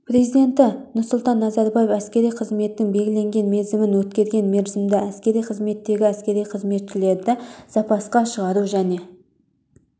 президенті нұрсұлтан назарбаев әскери қызметтің белгіленген мерзімін өткерген мерзімді әскери қызметтегі әскери қызметшілерді запасқа шығару және